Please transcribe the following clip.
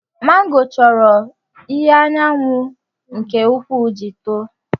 Màngò chọrọ ìhè anyanwụ nke ukwuu iji tòò